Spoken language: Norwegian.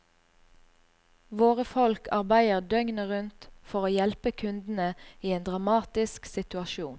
Våre folk arbeider døgnet rundt for å hjelpe kundene i en dramatisk situasjon.